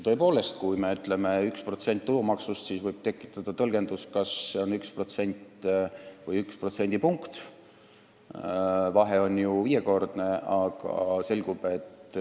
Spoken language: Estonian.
Tõepoolest, kui me ütleme 1% tulumaksust, siis võib tekkida küsimus, kas see on üks protsent või üks protsendipunkt – vahe on ju viiekordne.